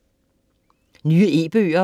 Nye e-bøger